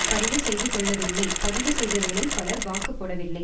பதிவு செய்துகொள்ளவில்லை பதிவுசெய்தவர்களில் பலர் வாக்குப்போடவில்லை